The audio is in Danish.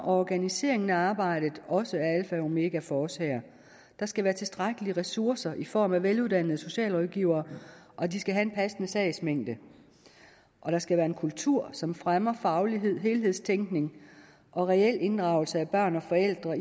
og organiseringen af arbejdet også er alfa og omega for os her der skal være tilstrækkelige ressourcer i form af veluddannede socialrådgivere og de skal have en passende sagsmængde og der skal være en kultur som fremmer faglighed helhedstænkning og reel inddragelse af børn og forældre